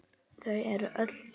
Þau eru öll hér.